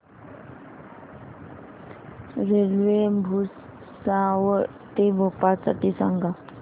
railway Bhusawal ते भोपाळ साठी सांगा